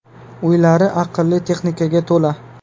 Uylar aqlli texnikaga to‘la.